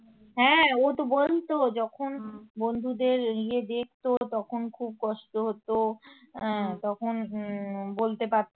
হ্যাঁ ও তো বলতো যখন বন্ধুদের ইয়ে দেখতো তখন খুব কষ্ট হতো তখন বলতে পারতো